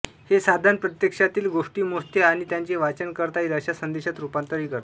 हे साधन प्रत्यक्षातील गोष्टी मोजते आणि त्याचे वाचन करता येईल अशा संदेशात रूपांतर करते